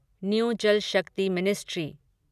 new Jal Shakti ministry